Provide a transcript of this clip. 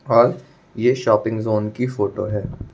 और ये shopping zone की फोटो है।